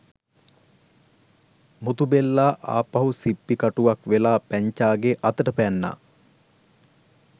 මුතු බෙල්ලා ආපහු සිප්පි කටුවක් වෙලා පැංචාගේ අතට පැන්නා.